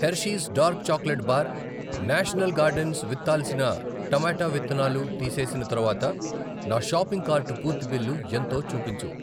Hershey's dark chocolate bar, national gardens విత్తాల్సిన టమాటా విత్తనాలు తీసేసిన తరువాత నా షాపింగ్ కార్టు పూర్తి బిల్లు ఎంతో చూపించు.